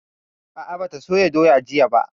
A'a, ba ta soya doya jiya ba